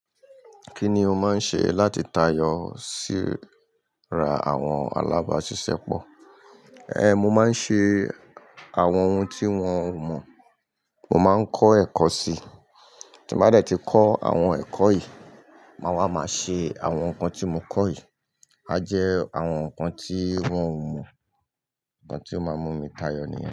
Kí ni o máa ń ṣe láti tayọ sí ra àwọn alábàáṣiṣẹ́ pọ̀? Mo máa ń ṣe àwọn ohun tí wọ́n ò mọ̀, mo máa ń kọ́ ẹ̀kọ́ sí i. Tí mo bá dẹ̀ ti kọ́ àwọn ẹ̀kọ́ yìí, màá wá máa ṣe àwọn nǹkan tí mo kọ́ yìí. A jẹ àwọn nǹkan tí wọ́n ò mọ̀, nǹkan tí ó máa mú mi tayọ níyẹn.